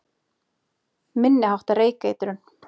Minni háttar reykeitrun